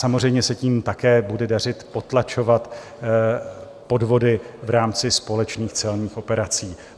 Samozřejmě se tím také bude dařit potlačovat podvody v rámci společných celních operací.